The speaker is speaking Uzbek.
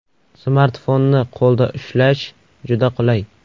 Smartfonni qo‘lda ushlash juda qulay.